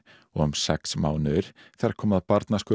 og um sex mánuðir þegar kom að